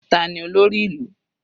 Tani olórí ìlú?